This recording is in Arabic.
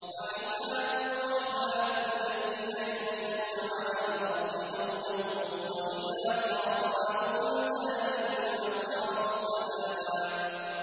وَعِبَادُ الرَّحْمَٰنِ الَّذِينَ يَمْشُونَ عَلَى الْأَرْضِ هَوْنًا وَإِذَا خَاطَبَهُمُ الْجَاهِلُونَ قَالُوا سَلَامًا